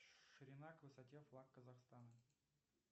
ширина к высоте флаг казахстана